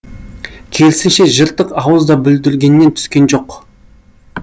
керісінше жыртық ауыз да бүлдіргеннен түскен жоқ